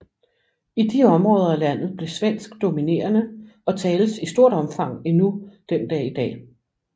I de områder af landet blev svensk dominerende og tales i stort omfang endnu den dag i dag